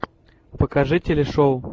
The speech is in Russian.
покажи телешоу